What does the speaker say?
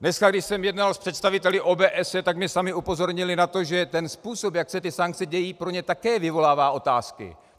Dneska, když jsem jednal s představiteli OBSE, tak mě sami upozornili na to, že ten způsob, jak se ty sankce dějí, pro ně také vyvolává otázky.